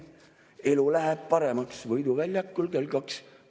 Elu läheb paremaks, Võidu väljakul kell kaks.